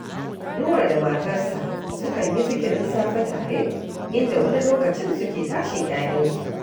Nura da matarsa sukan yi zikiran safe tare, inda wani lokacin suke tashin ‘ya’yansu